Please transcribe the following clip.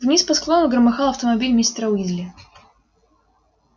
вниз по склону громыхал автомобиль мистера уизли